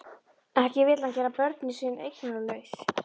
Ekki vill hann gera börnin sín eignalaus.